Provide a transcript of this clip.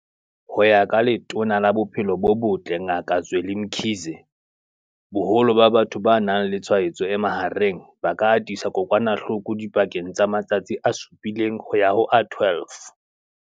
Ho ya ka Letona la Bophelo bo Botle Ngaka Zweli Mkhize, boholo ba batho ba nang le tshwaetso e mahareng ba ka atisa kokwanahloko dipakeng tsa matsatsi a supileng ho ya ho a 12.